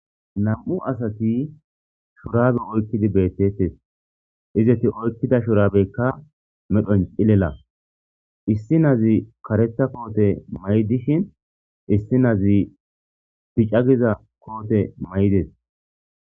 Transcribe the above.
nam'u asati shorabe oykkidi beettettes izeti oykkida shorabeykka medhoncilela issi nazi karetha koote may7 dishin issi nazi bica giza koote maydes